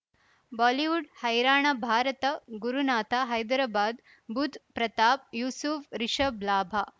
Bollywood ಹೈರಾಣ ಭಾರತ ಗುರುನಾಥ ಹೈದರಾಬಾದ್ ಬುಧ್ ಪ್ರತಾಪ್ ಯೂಸುಫ್ ರಿಷಬ್ ಲಾಭ